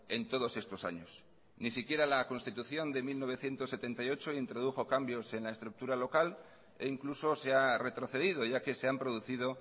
en todos estos años ni siquiera la constitución de mil novecientos setenta y ocho introdujo cambios en la estructura local e incluso se ha retrocedido ya que se han producido